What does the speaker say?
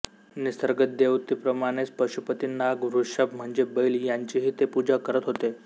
निसर्गदेवतेप्रमाणेच पशुपती नाग वृषभ म्हणजे बैल यांचीही ते पूजा करत होते